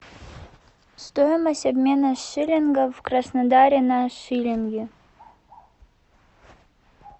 стоимость обмена шиллингов в краснодаре на шиллинги